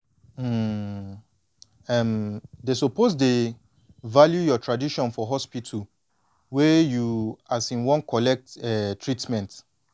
um em dey suppose dey value your tradition for hospital wey you um wan collect um treatment